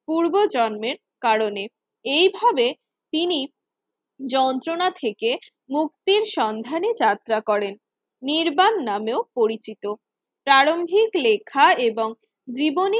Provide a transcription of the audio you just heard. পূর্বজন্মের কারণে এইভাবে তিনি যন্ত্রণা থেকে মুক্তির সন্ধানে যাত্রা করেন। নির্বাণ নামেও পরিচিত প্রারম্ভিক লেখা এবং জীবনী